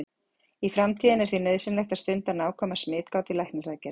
Í framtíðinni er því nauðsynlegt að stunda nákvæma smitgát við læknisaðgerðir.